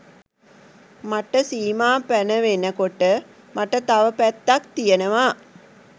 මට සීමා පැනවෙන කොට මට තව පැත්තක් තියනවා